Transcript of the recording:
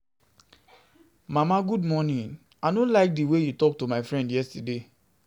Mama good morning. I know like the way you talk to my friend yesterday